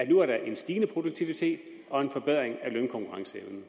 nu en stigende produktivitet og en forbedring af lønkonkurrenceevnen